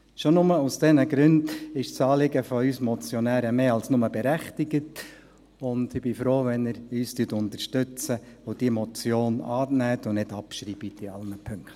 Schon nur aus diesen Gründen ist das Anliegen von uns Motionären mehr als nur berechtigt, und ich bin froh, wenn Sie uns unterstützen und diese Motion annehmen und nicht abschreiben, in allen Punkten.